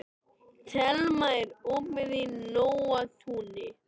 Thelma, er opið í Nóatúni?